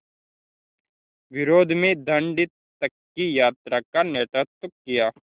विरोध में दाँडी तक की यात्रा का नेतृत्व किया